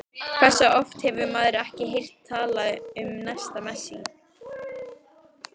Hversu oft hefur maður ekki heyrt talað um næsta Messi?